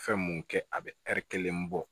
Fɛn mun kɛ a bɛ kelen bɔ